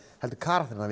heldur karakterana